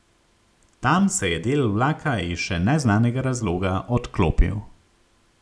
Tam se je del vlaka iz še neznanega razloga odklopil.